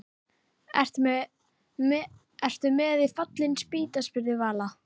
Ertu með í Fallin spýta? spurði Vala.